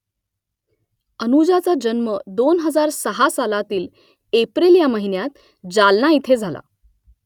अनुजाचा जन्म दोन हजार सहा सालातील एप्रिल या महिन्यात जालना इथे झाला